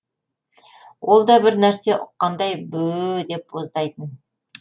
ол да бір нәрсе ұққандай бөөө деп боздайтын